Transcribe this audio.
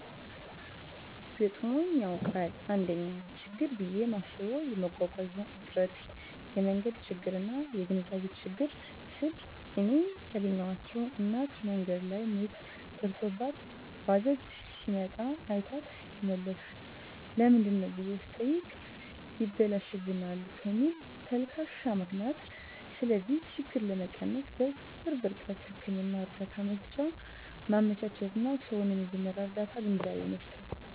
ገጥሞኝ ያዉቃል: 1ኛ :ችግር ብየ ማስበዉ የመጓጓዣ እጥረት የመንገድ ችግርና : (የግንዛቤ ችግር) ስል እኔ ያገኘኋት እናት መንገድ ላይ ምጥ ደርሶባት ባጃጅ ሲመጣ አይቷት ይመለሳል ለምንድነው ብየ ስጠይቅ ይበላሽብናል ከሚል ተልካሻ ምክንያት ስለዚህ ችግር ለመቀነስ_በቅርብ ርቀት ህክምና እርዳታ መሰጫ ማመቻቸትና: ሰዉን የመጀመርያ ርዳታ ግንዛቤ መስጠት።